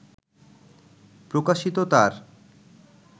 প্রকাশিত তাঁর